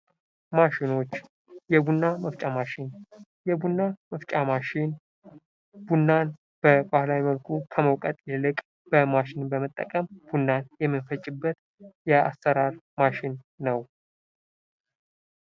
ማሽኖች የቡና መፍጫ ማሽን ፡-የቡና መፍጫ ማሽን ቡናን በባህላዊ መልኩ ከመውቀጥ ይልቅ በማሽን በመጠቀም ቡናን የመንፈጭበት የአሰራር ማሽን ነው።